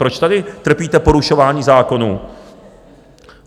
Proč tady trpíte porušování zákonů?